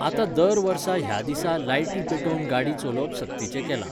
आतां दर वर्सा ह्या दिसा लायटी पेटोवन गाडी चलोवप सक्तिचें केलां.